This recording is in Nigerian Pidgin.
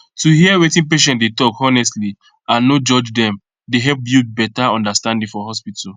to hear wetin patient dey talk honestly and no judge dem dey help build better understanding for hospital